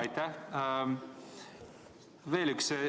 Aitäh!